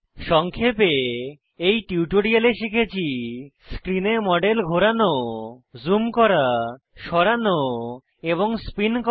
সংক্ষেপে এই টিউটোরিয়ালে শিখেছি স্ক্রিনে মডেল ঘোরানো জুম করা সরানো এবং স্পিন করা